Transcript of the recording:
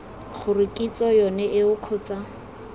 gore kitso yone eo kgotsa